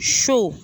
So